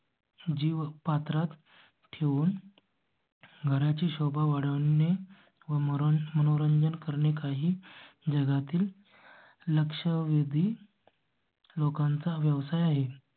जीव पात्रात ठेवून. घरा ची शोभा वाढवून व म्हणून मनोरंजन करणे काही जगातील. लक्षवेधीं. लोकांचा व्यवसाय आहे.